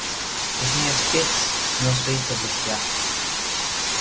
точнее спец но в своих областях